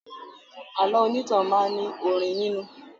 Àlọ́ onítàn máa ní orin nínú